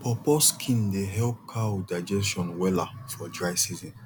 pawpaw skin dey help cow digestion wella for dry season